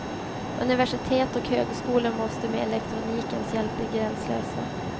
Universitet och högskolor måste med elektronikens hjälp bli gränslösa.